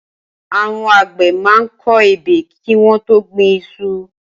Awọ̀n ágbẹ̀ mà n kọ ẹ́bẹ́ kiwọn tó gbin iṣu